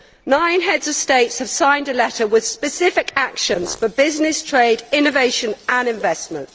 Nine heads of state have signed a letter on specific actions for business, trade, innovation and investment.